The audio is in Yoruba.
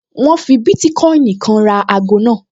Wọ́n fi bítíkọ́ìnì kan ra ago náà